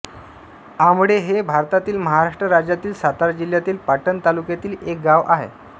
आंबळे हे भारतातील महाराष्ट्र राज्यातील सातारा जिल्ह्यातील पाटण तालुक्यातील एक गाव आहे